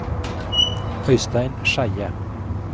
Øistein Skeie